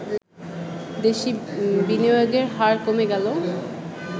দেশি বিনিয়োগের হার কমে গেলে